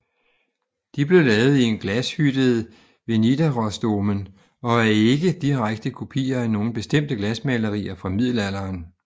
De blev lavet i en glashytte ved Nidarosdomen og er ikke direkte kopier af nogen bestemte glasmalerier fra middelalderen